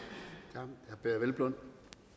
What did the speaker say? herre peder hvelplund